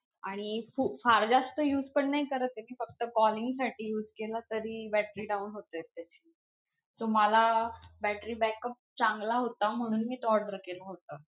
आणि हो फार जास्त use पण नाही करत आहे, मी फक्त calling साठी use केला तरी battery down होते त्याची. so मला battery backup चांगला होता म्हणून मी तो order केला होता.